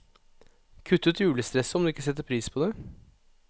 Kutt ut julestresset, om du ikke setter pris på det.